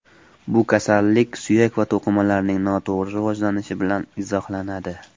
Bu kasallik suyak va to‘qimalarning noto‘g‘ri rivojlanishi bilan izohlanadi.